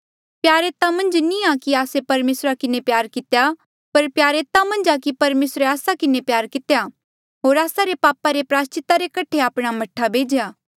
प्यार एता मन्झ नी आ कि आस्से परमेसरा किन्हें प्यार कितेया पर प्यार एता मन्झ आ कि परमेसरे आस्सा किन्हें प्यार कितेया होर आस्सा रे पापा रे प्रायस्चिता रे कठे आपणा मह्ठा भेज्या